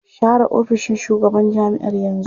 Share ofishin shugaban jami'ar yanzu!